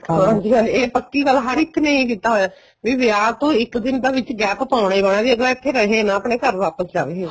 ਹਾਂਜੀ ਹਾਂ ਇਹ ਪੱਕੀ ਗੱਲ ਹਰ ਇੱਕ ਨੇ ਇਹ ਕੀਤਾ ਹੋਇਆ ਬੀ ਵਿਆਹ ਤੋਂ ਇੱਕ ਦਿਨ ਦਾ ਵਿੱਚ gap ਪਾਉਣਾ ਈ ਪਾਉਣਾ ਜੀ ਅੱਗਲਾ ਇੱਥੇ ਰਹੇ ਨਾ ਆਪਣੇ ਘਰ ਵਾਪਸ ਜਾਵੇ